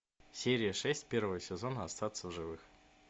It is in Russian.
серия шесть первый сезон остаться в живых